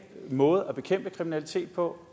måde at bekæmpe kriminalitet på